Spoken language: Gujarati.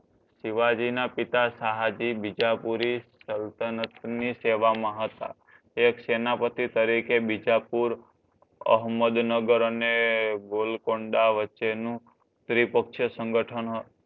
શિવાજીના પિતા શાહજી બીજાપૂરી સલ્તનતની સેવા મા હતા એક સેનાપતિ તરીકે બિજાપુર અહમદનગર અને ગોલકોન્ડા વચ્ચે નું સંગઠન હ